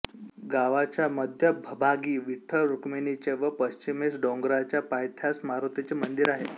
गावाच्या मध्यभभागी विठ्ठल रुक्मिणीचे व पश्चिमेस डोंगराच्या पायथ्यास मारुतीचे मंदिर आहे